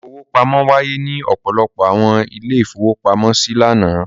Ìfowópamọ́ wáyé ní ọ̀pọ̀lọpọ̀ àwọn ilé-ìfowópamọ́sí lánàá.